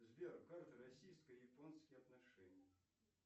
сбер карта российско японские отношения